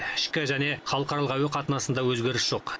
ішкі және халықаралық әуе қатынасында өзгеріс жоқ